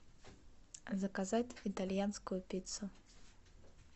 заказать итальянскую пиццу